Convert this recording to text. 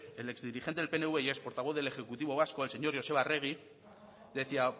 el exdirigente del pnv y ex portavoz del ejecutivo vasco el señor joseba arregi decía